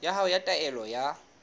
ya hao ya taelo ya